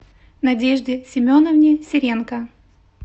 надежде семеновне серенко